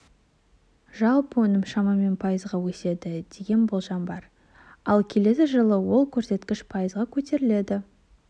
жалпы өнім шамамен пайызға өседі деген болжам бар ал келесі жылы ол көрсеткіш пайызға көтеріледі